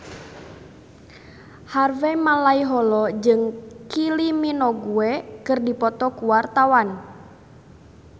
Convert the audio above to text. Harvey Malaiholo jeung Kylie Minogue keur dipoto ku wartawan